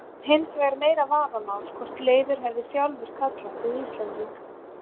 Það er hins vegar meira vafamál hvort Leifur hefði sjálfur kallað sig Íslending.